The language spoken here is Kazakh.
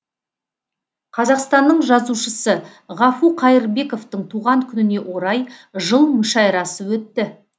қазақстанның жазушысы ғафу қайырбековтың туған күніне орай жыл мүшәйрасы өтті